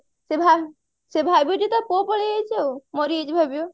ସେ ଭାବିବ ଯେ ଟା ପୁଅ ପଳେଇଯାଇଛି ଆଉ ମରିଯାଇଛି ଭାବିବ